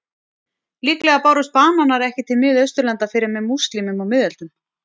Líklega bárust bananar ekki til Miðausturlanda fyrr en með múslímum á miðöldum.